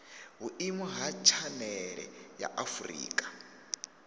vhuimo ha tshanele ya afurika